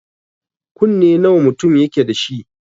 Kunne nawa mutum yake dashi?